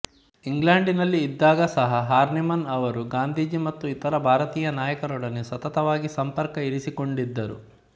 ಇಂಗ್ಲಂಡಿನಲ್ಲಿ ಇದ್ದಾಗ ಸಹ ಹಾರ್ನಿಮನ್ ಅವರು ಗಾಂಧಿಜಿ ಮತ್ತು ಇತರ ಭಾರತೀಯ ನಾಯಕರೊಡನೆ ಸತತವಾಗಿ ಸಂಪರ್ಕ ಇರಿಸಿಕೊಂಡಿದ್ದರು